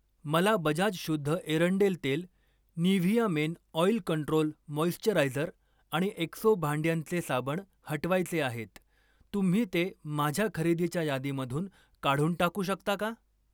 मला बजाज शुद्ध एरंडेल तेल, Nivea men oil control moisturiser आणि एक्सो भांड्यांचे साबण हटवायचे आहेत, तुम्ही ते माझ्या खरेदीच्या यादीमधून काढून टाकू शकता का?